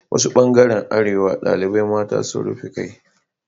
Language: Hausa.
Wasu ɓangaren arewa ɗaliɓan mata sun rufe ƙai